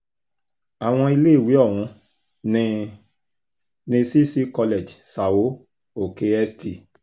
àwọn iléèwé ọ̀hún ní ní cc college são oke [cs st